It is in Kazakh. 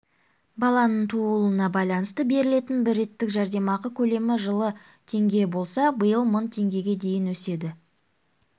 баланың тууылуына байланысты берілетін бір реттік жәрдемақы көлемі жылы теңге болса биыл мың теңгеге дейін өседі